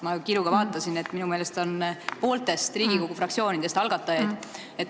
Ma kiiruga vaatasin, minu meelest on algatajaid Riigikogu pooltest fraktsioonidest.